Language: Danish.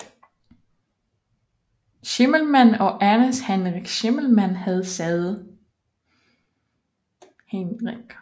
Schimmelmann og Ernst Heinrich Schimmelmann havde sæde